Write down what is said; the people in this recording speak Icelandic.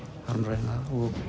harmræna